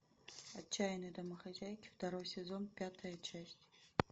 отчаянные домохозяйки второй сезон пятая часть